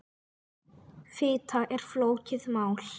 Fita er flókið mál.